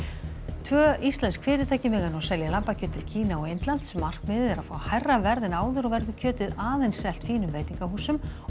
tvö íslensk fyrirtæki mega nú selja lambakjöt til Kína og Indlands markmiðið er að fá hærra verð en áður og verður kjötið aðeins selt fínum veitingahúsum og